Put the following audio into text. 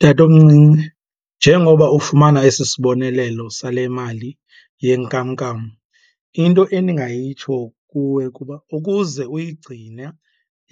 Tatomncinci, njengoba ufumana esi sibonelelo sale mali yenkamnkam into endingayitsho kuwe kuba ukuze uyigcine